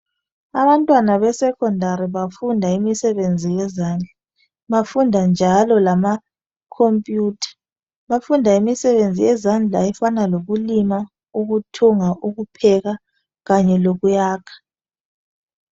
Abantwana be Secondary bafunda imisebenzi yezandla .Bafunda njalo lama computer Bafunda imisebenzi yezandla efana lokulima, ukuthunga, ukupheka kanye lokuyakha